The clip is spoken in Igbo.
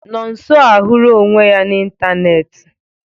Nọnso ahụra onwe ya na ịntanetị.